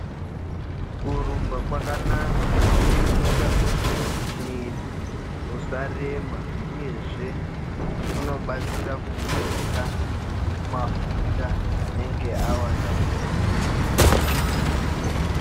Kurumba kwakanaka kunoita kuti mwiri usarema uyezve kunobatsira kubuditsa mafuta anenge awanda mumwiri.